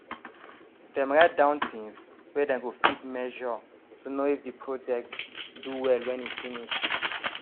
dem write down things wey dem go fit measure to know if the project do well when e finish